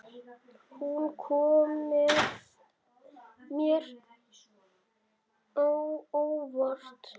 Hún kom mér á óvart.